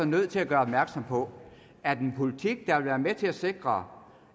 nødt til at gøre opmærksom på at en politik der vil være med til at sikre